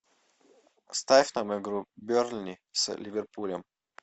ставь нам игру бернли с ливерпулем